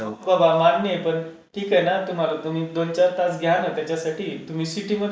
हो बाबा मान्य आहे पण ठीक आहे ना, तुम्हाला तुम्ही दोन चार तास घ्या ना त्याच्यासाठी तुम्ही सिटी मध्ये कसं